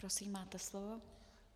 Prosím, máte slovo.